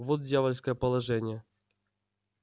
вот дьявольское положение